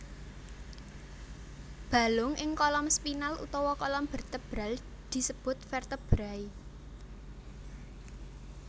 Balung ing kolom spinal utawa kolom bertebral disebut vertebrai